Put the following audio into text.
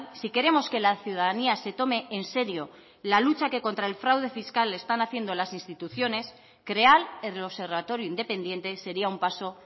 si queremos que la ciudadanía se tome en serio la lucha que contra el fraude fiscal están haciendo las instituciones crear el observatorio independiente sería un paso